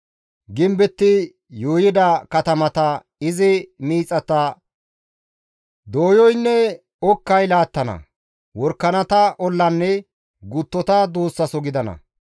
Gimbetti yuuyida katamata, izi miixata doyoynne okkay laattana; worakanata ollanne guttota duussaso gidana.